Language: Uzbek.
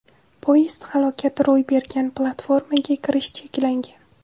Poyezd halokati ro‘y bergan platformaga kirish cheklangan.